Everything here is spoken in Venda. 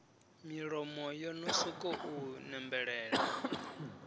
milomo yo no sokou nembelela